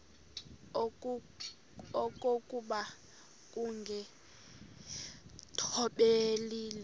okokuba ukungathobeli le